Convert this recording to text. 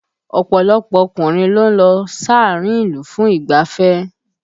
Ọ̀pọ̀lọpọ̀ ọkùnrin ló ń lọ sáàárín ìlú fún ìgbáfẹ́